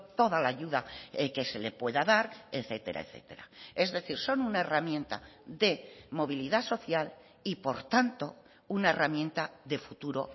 toda la ayuda que se le pueda dar etcétera etcétera es decir son una herramienta de movilidad social y por tanto una herramienta de futuro